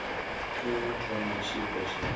tea u thoma tshiko tsha